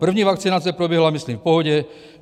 První vakcinace proběhla, myslím, v pohodě.